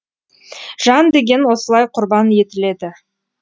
жан деген осылай құрбан етіледі